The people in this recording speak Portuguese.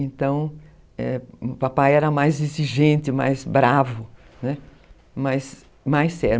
Então, é, o papai era mais exigente, mais bravo, né, mais sério.